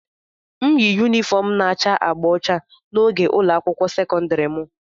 m yi yunifọm na-acha agba ọcha na oge ụlọ akwụkwọ sekọndrị m